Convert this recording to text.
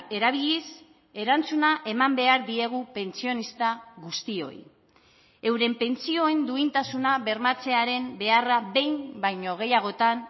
erabiliz erantzuna eman behar diegu pentsionista guztioi euren pentsioen duintasuna bermatzearen beharra behin baino gehiagotan